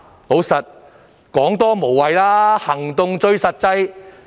事實上，多說無謂，行動最實際。